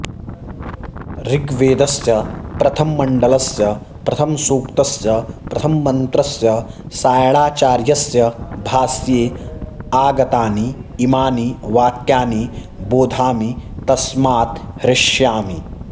ऋग्वेदस्य प्रथममण्डलस्य प्रथमसूक्तस्य प्रथममन्त्रस्य सायणाचार्यस्य भाष्ये आगतानि इमानि वाक्यानि बोधामि तस्मात् हृष्यामि